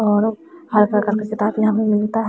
और हर प्रकार कॉपी किताब यहां पे मिलता है।